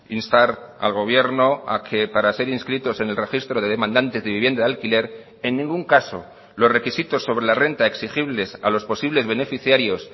instar al gobierno a que para ser inscritos en el registro de demandantes de vivienda de alquiler en ningún caso los requisitos sobre la renta exigibles a los posibles beneficiarios